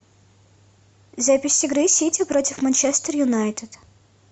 запись игры сити против манчестер юнайтед